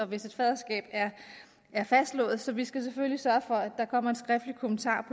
hvis et faderskab er fastslået så vi skal selvfølgelig sørge for at der kommer en skriftlig kommentar